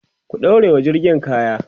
ku ɗaurawa jirgin kaya!